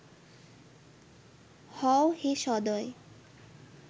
হও হে সদয়